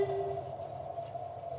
á